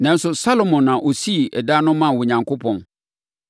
Nanso, Salomo na ɔsii dan no maa Onyankopɔn.